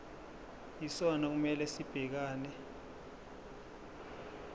yisona okumele sibhekane